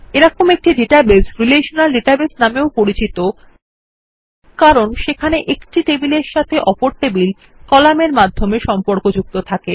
এরকম একটি database relational database নামেও পরিচিত কারণ সেখানে একটি টেবিলের সাথে অপর টেবিলে একটি কলামের মাধ্যমে সম্পর্কযুক্ত থাকে